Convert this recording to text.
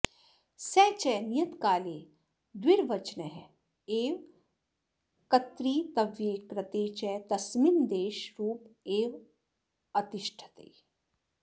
स च नियतकाले द्विर्वचन एव कत्र्तव्ये कृते च तस्मिन्नादेशरूप एवावतिष्ठते